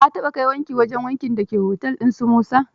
Ka taɓa kai wanki wajen wankin da ke otel ɗin su Musa.